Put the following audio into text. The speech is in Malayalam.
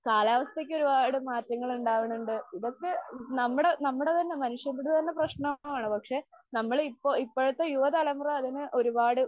കാലാവസ്ഥക്ക് ഒരുപാട് മാറ്റങ്ങള് ഉണ്ടാകുന്നുണ്ട്. ഇതൊക്കെ നമ്മടെ നമ്മടെ തന്നെ മനുഷ്യരുടെ തന്നെ പ്രശ്നമാണ്. പക്ഷെ, നമ്മള് ഇപ്പോ ഇപ്പോഴത്തെ യുവ തലമുറ അതിനെ ഒരുപാട്